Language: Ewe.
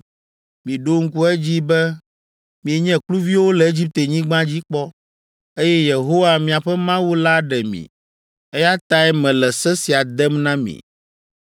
Miɖo ŋku edzi be mienye kluviwo le Egiptenyigba dzi kpɔ, eye Yehowa, miaƒe Mawu la ɖe mi! Eya tae mele se sia dem na mi.